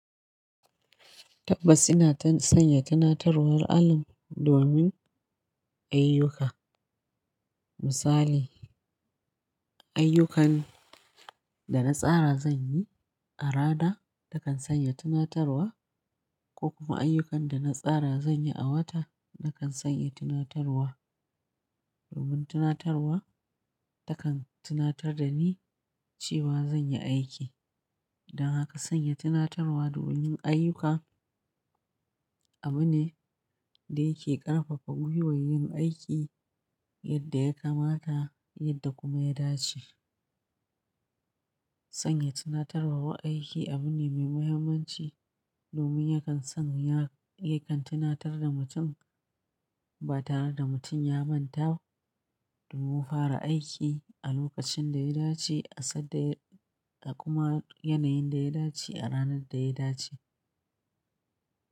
Tabbas ina sanya tunatarwar alarm domin ayyuka. Misali, ayyukan da na tsara zan yi a rana takan sanya tunatarwa ko kuma ayyukan da na tsara zan yi a wata nakan sanya tunatarwa. Domin tunatarwa takan tunatar da ni cewa zan yi aiki. Dan haka sanya tunatarwa domin ayyuka abu ne da yake ƙarfafa gwiwar yin aiki yadda ya kamata yadda kuma ya dace. Sanya tunatarwar aiki abu ne mai muhimmanci domin yakan son ya, yakan tunatar da mutum ba tare da mutum ya manta domin fara aiki a lokacin da ya dace a sad da, a kuma yanayin da ya dace a ranar da ya dace.